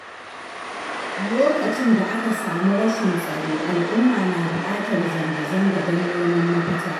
Lokacin da aka samu rashin tsaro al'umma na buƙatar zanga-zanga don neman mafita